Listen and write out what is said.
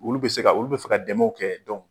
Olu bɛ se ka olu bɛ fɛ ka dɛmɛnw kɛ